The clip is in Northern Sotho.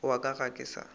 wa ka ga ke sa